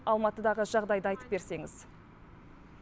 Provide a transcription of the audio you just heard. алматыдағы жағдайды айтып берсеңіз